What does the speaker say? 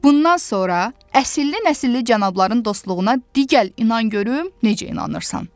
Bundan sonra əsilli-nəcilli cənabların dostluğuna digər inan görüm necə inanırsan.